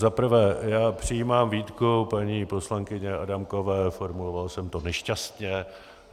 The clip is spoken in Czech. Za prvé, já přijímám výtku paní poslankyně Adámkové, formuloval jsem to nešťastně.